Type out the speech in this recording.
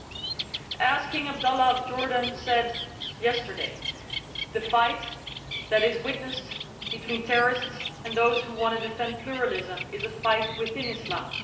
As the King of Jordan said yesterday, the fight that is witnessed between terrorists and those who want to defend pluralism is a fight within Islam.